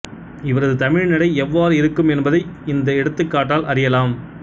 இவரது தமிழ்நடை எவ்வாறு இருக்கும் என்பதை இந்த எடுத்துக்காட்டால் அறியலாம்